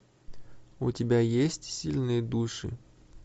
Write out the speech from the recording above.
у тебя есть сильные души